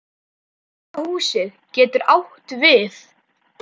Hvíta húsið getur átt við